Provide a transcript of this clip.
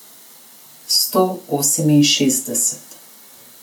Sto oseminšestdeset.